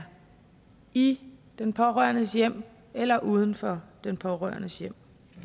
i den pårørendes hjem eller uden for den pårørendes hjem